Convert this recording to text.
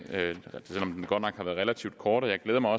selv om den godt nok har været relativt kort jeg glæder mig